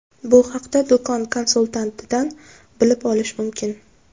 Bu haqda do‘kon konsultantidan bilib olish mumkin.